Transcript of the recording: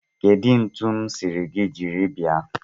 Kedu ntu m siri gi jiri bia?